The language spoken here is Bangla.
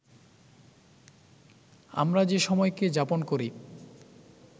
আমরা যে সময়কে যাপন করি